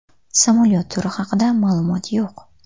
Samolyot turi haqida ma’lumot yo‘q.